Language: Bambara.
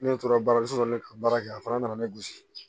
Ne tora baaraso la ne ka baara kɛ a fana nana ne gosi